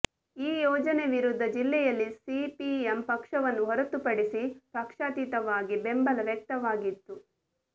ಈ ಯೋಜನೆ ವಿರುದ್ಧ ಜಿಲ್ಲೆಯಲ್ಲಿ ಸಿಪಿಎಂ ಪಕ್ಷವನ್ನು ಹೊರತುಪಡಿಸಿ ಪಕ್ಷಾತೀತವಾಗಿ ಬೆಂಬಲ ವ್ಯಕ್ತವಾಗಿತ್ತು